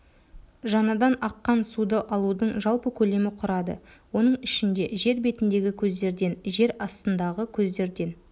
жаңадан аққан суды алудың жалпы көлемі құрады оның ішінде жер бетіндегі көздерден жер астындағы көздерден